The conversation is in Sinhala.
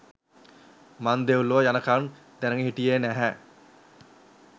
මං දෙව්ලොව යනකල්ම දැනගෙන හිටියේ නැහැ